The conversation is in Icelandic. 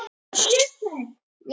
Fjórða útgáfa.